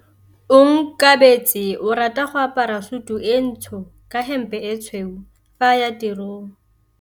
Onkabetse o rata go apara sutu e ntsho ka hempe e tshweu fa a ya tirong.